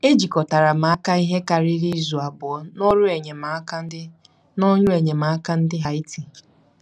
Ejikọtara m ihe karịrị izu abụọ n'ọrụ enyemaka ndị n'ọrụ enyemaka ndị Haiti.